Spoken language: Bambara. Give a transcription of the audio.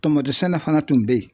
Tamati sɛnɛ fana tun bɛ yen.